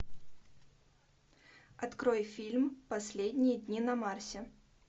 открой фильм последние дни на марсе